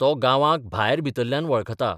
तो गांवांक भायर भितरल्यान बळखता.